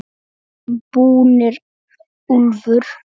VIÐ ERUM BÚNIR, ÚLFUR!